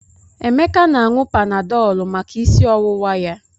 Emeka na-aṅụ Panadọlụ maka isi ọwụwa ya.